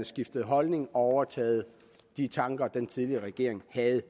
skiftet holdning og overtaget de tanker den tidligere regering havde